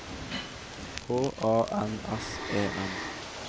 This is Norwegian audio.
H A N S E N